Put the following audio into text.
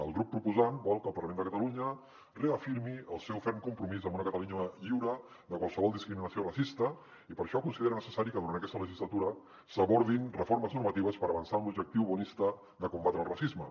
el grup proposant vol que el parlament de catalunya reafirmi el seu ferm compromís amb una catalunya lliure de qualsevol discriminació racista i per això considera necessari que durant aquesta legislatura s’abordin reformes normatives per avançar en l’objectiu bonista de combatre el racisme